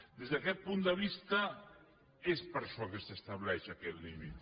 des d’aquest punt de vista és per això que s’estableix aquest límit